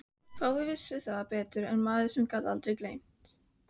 Fáir vissu það betur en maður sem gat aldrei gleymt.